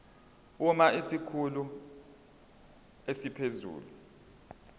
uma isikhulu esiphezulu